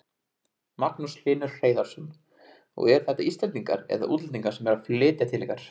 Magnús Hlynur Hreiðarsson: Og eru þetta Íslendingar eða útlendingar sem eru að flytja til ykkar?